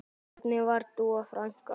Hvernig var Dúa frænka?